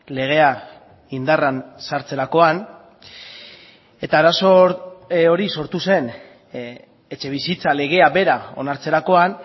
legea indarrean sartzerakoan eta arazo hori sortu zen etxebizitza legea bera onartzerakoan